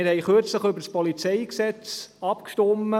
Wir haben kürzlich über das PolG abgestimmt.